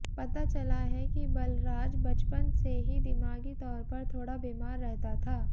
पता चला है कि बलराज बचपन से ही दिमागी ताैर पर थाेड़ा बीमार रहता था